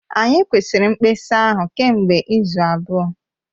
Anyị kwụsịrị mkpesa ahụ kemgbe izu abụọ